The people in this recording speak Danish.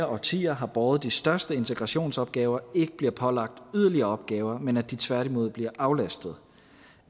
årtier har båret de største integrationsopgaver ikke bliver pålagt yderligere opgaver men at de tværtimod bliver aflastet